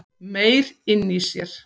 Meyr inni í sér